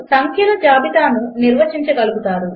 2 సంఖ్యల జాబితాను నిర్వచించగలుగుతారు